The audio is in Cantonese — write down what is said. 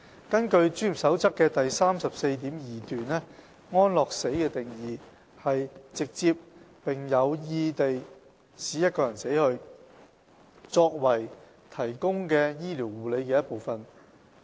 根據《專業守則》的第 34.2 段，安樂死的定義是"直接並有意地使一個人死去，作為提供的醫療護理的一部分"。